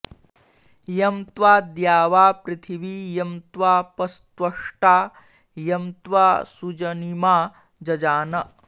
यं त्वा द्यावापृथिवी यं त्वापस्त्वष्टा यं त्वा सुजनिमा जजान